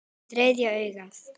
Þriðja augað.